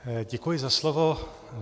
Děkuji za slovo.